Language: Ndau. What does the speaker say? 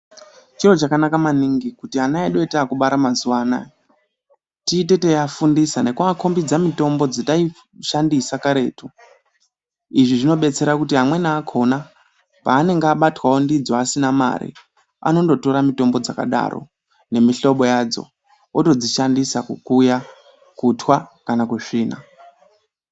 Chiro chakanaka maningi kuti ana edu etaakubara mazuwanaya tiite teiafundisa nekuakombidze mitombo dzataishandisa karetu izvi zvinobetsera kuti amweni akona paanenge abatwa ndidzo asina mari anondo tora mitombo dzakadaro nemihlobo yadzo otodzishandisa kukuya, kutwa kana kusvina.